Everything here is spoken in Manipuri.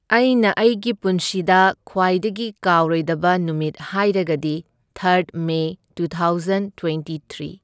ꯑꯩꯅ ꯑꯩꯒꯤ ꯄꯨꯟꯁꯤꯗ ꯈ꯭ꯋꯥꯏꯗꯒꯤ ꯀꯥꯎꯔꯣꯏꯗꯕ ꯅꯨꯃꯤꯠ ꯍꯥꯏꯔꯒꯗꯤ ꯊꯔꯗ May two thousand twenty three.